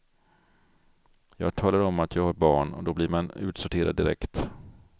Jag talar om att jag har barn, och då blir man utsorterad direkt.